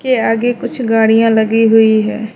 के आगे कुछ गाड़ियां लगी हुई है।